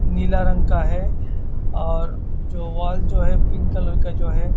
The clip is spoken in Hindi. नीला रंग का है और जो वाल जो है पिंक कलर का है।